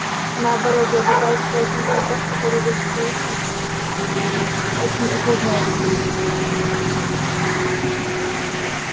наоборот я пытаюсь прояснить вопрос который вы с куинном мм очень усложняете